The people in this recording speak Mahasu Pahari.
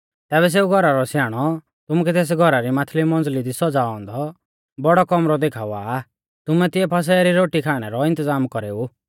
तैबै सेऊ घौरा रौ स्याणौ तुमुकै तेस घौरा री माथली मंजली दी सौज़ाऔ औन्दौ बौड़ौ कौमरौ देखावा आ तुमै तिऐ फसह री रोटी खाणै रौ इन्तज़ाम कौरेऊ